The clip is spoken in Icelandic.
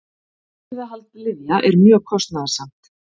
Birgðahald lyfja er mjög kostnaðarsamt.